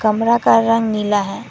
कमरा का रंग नीला है।